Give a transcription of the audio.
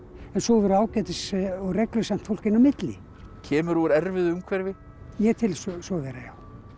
en svo voru ágætis og fólk inn á milli kemurðu úr erfiðu umhverfi ég tel svo vera já